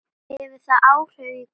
Hefur það áhrif í kvöld?